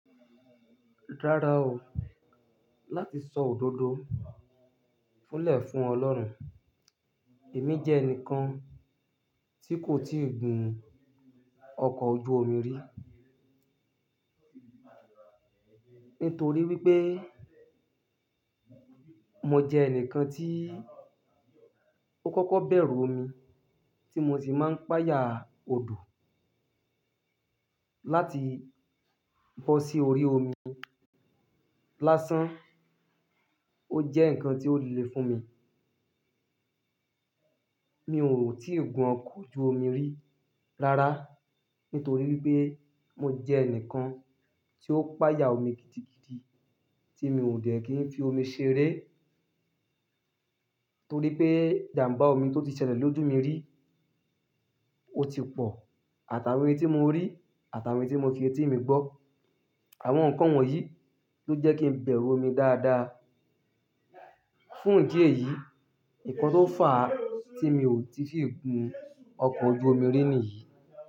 Rárá o, láti sọ òdodo fúnlè fún Ọlọ́run, èmi jẹ́ ẹnìkan tí kò tíì gun ọkọ̀ ojú omi rí. Nítorí wípé mo jẹ ẹnìkan tí ó kọ́kọ́ bẹ̀rù omi, tí mo sì máa ń pà yà odò láti bọ́ sí orí omi lásán. Ó jẹ́ ǹkan tí ó le fún mi. Mi ò tíì gun ọkọ̀ ojú omi rí rárá, nítorí wípé mo jẹ ẹnìkan tí ó pà yà omi gidigidi tí mi ò dè kín fi omi ṣeré. Nítorí pé ìjàmbá omi tó ti ṣẹlẹ̀ lójú mi rí, ó ti pọ̀ àtàwé tí mo rí, àtàwé tí mo fi etí mi gbọ́. Àwọn nǹkan wọ̀nyí ló jẹ́ kí n bẹ̀rù omi dáadáa. Fún ìdí èyí, ǹkan tó fà á tí mi ò tíì fi gun ọkọ̀ ojú omi rí nìyí.